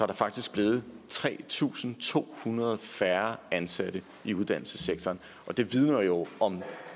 der faktisk blevet tre tusind to hundrede færre ansatte i uddannelsessektoren og det vidner jo om